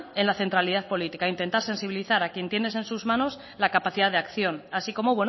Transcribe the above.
en la centralidad política intentar sensibilizar a quien tiene en sus manos la capacidad de acción así como